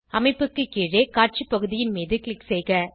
அமைப்புக்கு கீழே காட்சி பகுதியின் மீது க்ளிக் செய்க